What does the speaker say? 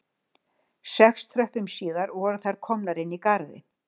Sex tröppum síðar voru þær komnar inn í garðinn